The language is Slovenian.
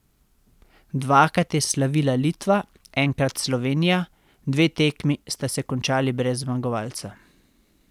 Dvakrat je slavila Litva, enkrat Slovenija, dve tekmi sta se končali brez zmagovalca.